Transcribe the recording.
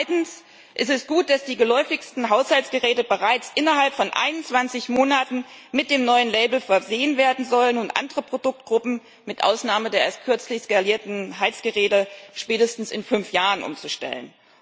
Zweitens ist es gut, dass die geläufigsten Haushaltsgeräte bereits innerhalb von 21 Monaten mit dem neuen Label versehen werden sollen und andere Produktgruppen, mit Ausnahme der erst kürzlich skalierten Heizgeräte, spätestens in fünf Jahren umzustellen.